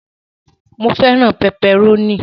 Mó fẹràn pẹpẹrónì.